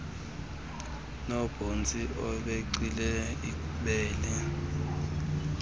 nobhontsi becinezela ibele